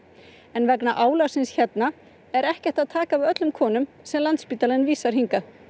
en vegna álagsins hér er ekki hægt að taka við öllum konum sem Landspítalinn vísar hingað